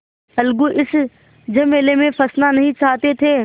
अलगू इस झमेले में फँसना नहीं चाहते थे